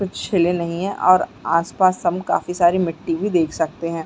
कुछ छिले नहीं है और आस - पास हम काफी सारी मिटटी भी देख सकते है।